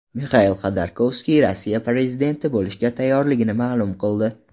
Mixail Xodorkovskiy Rossiya prezidenti bo‘lishga tayyorligini ma’lum qildi.